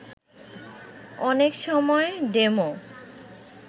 অনেক সময় ডেমো